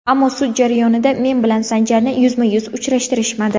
Ammo sud jarayonida men bilan Sanjarni yuzma-yuz uchrashtirishmadi.